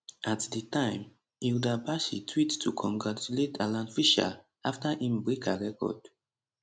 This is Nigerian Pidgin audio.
at di time hilda baci tweet to congratulate alan fisher afta im break her record